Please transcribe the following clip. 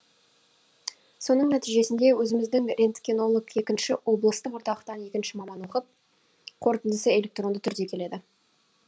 соның нәтижесінде өзіміздің рентгенолог екінші облыстық орталықтан екінші маман оқып қорытындысы электронды түрде келеді